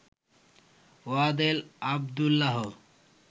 Wadel Abdullah